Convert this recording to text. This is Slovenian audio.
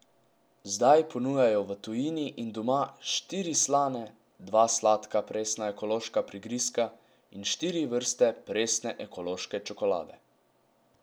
Zdaj ponujajo v tujini in doma štiri slane, dva sladka presna ekološka prigrizka in štiri vrste presne ekološke čokolade.